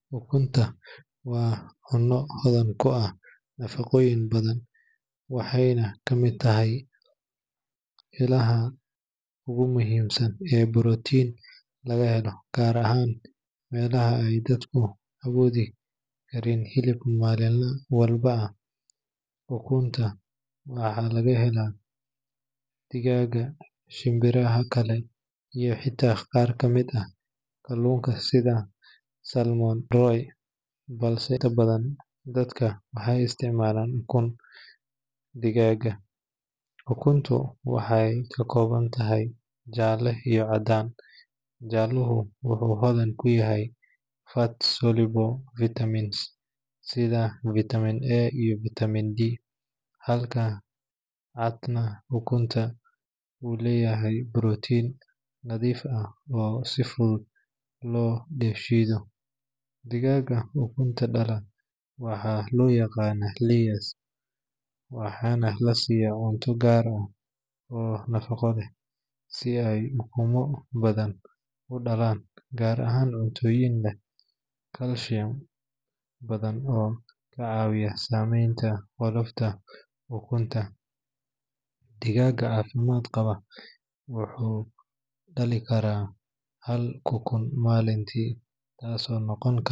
Ukunta waa cunno hodan ku ah nafaqooyin badan waxayna ka mid tahay ilaha ugu muhiimsan ee borotiinka laga helo, gaar ahaan meelaha ay dadku awoodi karin hilib maalin walba. Ukunta waxaa laga helaa digaagga, shinbiraha kale, iyo xitaa qaar ka mid ah kalluunka sida salmon roe, balse inta badan dadka waxay isticmaalaan ukunta digaagga. Ukuntu waxay ka kooban tahay jaalle iyo caddaan, jaalluhu wuxuu hodan ku yahay fat-soluble vitamins sida vitamin A iyo vitamin D, halka cadka ukunta uu leeyahay borotiin nadiif ah oo si fudud loo dheefshiido. Digaagga ukunta dhala waxaa loo yaqaan layers waxaana la siyaa cunto gaar ah oo nafaqo leh si ay ukumo badan u dhalaan, gaar ahaan cuntooyin leh calcium badan oo ka caawiya sameynta qolofka ukunta. Digaagga caafimaad qaba wuxuu dhalin karaa hal ukun maalintii, taasoo noqon karta .